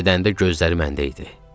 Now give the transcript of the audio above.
Gedəndə gözləri məndə idi.